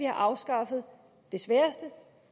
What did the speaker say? afskaffet det sværeste